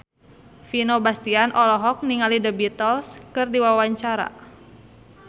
Vino Bastian olohok ningali The Beatles keur diwawancara